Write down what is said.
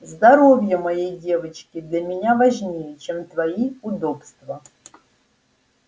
здоровье моей девочки для меня важнее чем твои удобства